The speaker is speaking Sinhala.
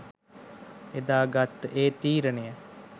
එදා ගත්ත ඒ තීරණය